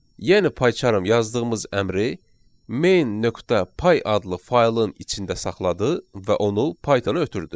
Yəni payçarm yazdığımız əmri main.py adlı faylın içində saxladı və onu Python-a ötürdü.